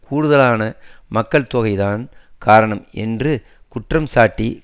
கூடுதலான மக்கள் தொகைதான் காரணம் என்று குற்றம் சாட்டி